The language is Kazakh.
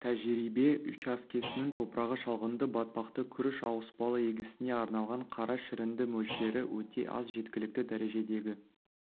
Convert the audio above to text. тәжірибе учаскесінің топырағы шалғынды батпақты күріш ауыспалы егісіне арналған қара шірінді мөлшері өте аз жеткілікті дәрежедегі